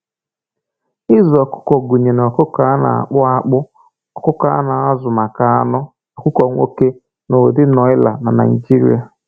Ịzụ ọkụkọ gụnyere ọkụkọ na-akpụ akpụ, ọkụkọ a na-azụ maka anụ, ọkụkọ nwoke, na ụdị nọịla na Naịjirịa.